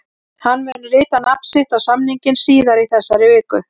Hann mun rita nafn sitt á samninginn síðar í þessari viku.